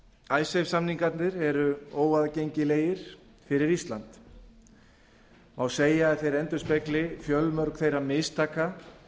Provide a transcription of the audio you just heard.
haga icesave samningarnir eru óaðgengilegir fyrir ísland má segja að þeir endurspegli fjölmörg þeirra mistaka